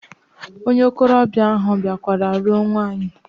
Onye okolobia ahu biakwara ruo nwaanyi.